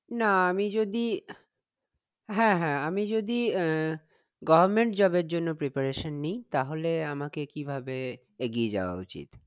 না আমি যদি হ্যাঁ হ্যাঁ আমি যদি আহ goverment job এর জন্য preparation নি তাহলে আমাকে কিভাবে এগিয়ে যাওয়া উচিত